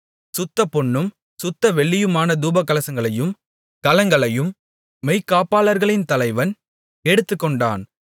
சுத்தப் பொன்னும் சுத்த வெள்ளியுமான தூபகலசங்களையும் கலங்களையும் மெய்க்காப்பாளர்களின் தலைவன் எடுத்துக்கொண்டான்